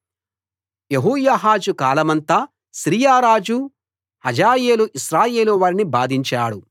యెహోయాహాజు కాలమంతా సిరియారాజు హజాయేలు ఇశ్రాయేలు వారిని బాధించాడు